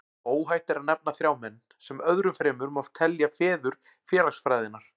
Óhætt er að nefna þrjá menn, sem öðrum fremur má telja feður félagsfræðinnar.